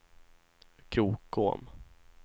Krokom